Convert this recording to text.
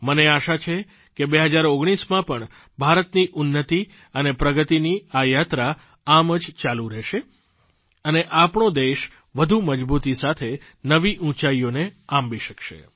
મને આશા છે કે 2019માં પણ ભારતની ઉન્નતિ અને પ્રગતિની આ યાત્રા આમ જ ચાલુ રહેશે અને આપણો દેશ વધુ મજબૂતી સાથે નવી ઊંચાઇઓને આંબી શકશે